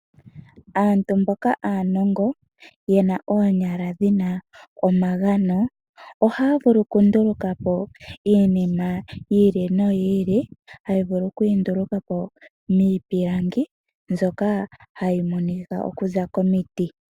Aantu mboka aanongo yena oonyala dhina omagano ohaya vulu okundulukapo iinima yiili noyiili. Ohaya vulu okuyindulukapo miipilangi mbyoka hayi monika okuza komiti.